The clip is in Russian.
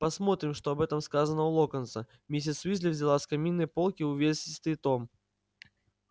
посмотрим что об этом сказано у локонса миссис уизли взяла с каминной полки увесистый том